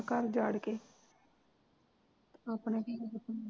ਘਰ ਉਜਾੜ ਕੇ ਆਪਣੇ ਧੀਆਂ ਪੁੱਤਾਂ ਦਾ